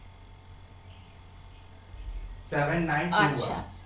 seven nine three zero